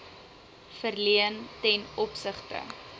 verleen ten opsigte